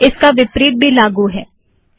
इसका विपरीत भी लागू होता है